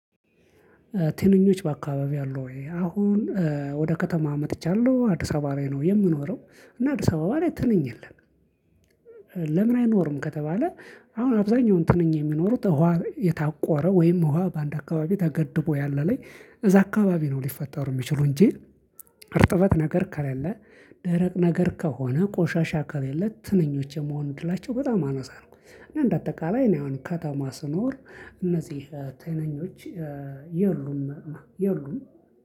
ትንኞች በአካባቢይህ አሉ ወይ? አሁን ወደ ከተማ መጥቻለሁ አዲስ አበባ ላይ ነው የምኖረው እና አዲስ አበባ ላይ ትንኝ የለም። ለምን? አይኖርም ከተባለ። አሁን አብዛኛውን ትንኝ የሚኖሩት እኋ የታቆረ ወይም ውሃ በአንድ አካባቢ ተገድቦ ያለ ላይ እዛ አካባቢ ነው ሊፈጠሩ ሚችሉ እንጂ። እርጥበት ነገር ከለለ። ደረቅ ነገር ከሆነ ቆሻሻ ከለለ ትንኞች የመሆን እድላቸው በጣም አነሳ ነው። እና እንደ አጠቃላይ እኔ አሁን ከተማ ስኖር እነዚህ ትንኞች የሉም የሉም።